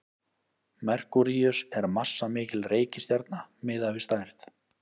merkúríus er massamikil reikistjarna miðað við stærð